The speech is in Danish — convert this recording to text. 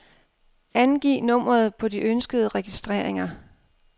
Angiv nummeret på de ønskede registreringer.